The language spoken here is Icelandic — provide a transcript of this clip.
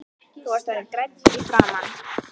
Þú varst orðinn grænn í framan.